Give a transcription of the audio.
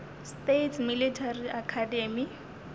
states military academy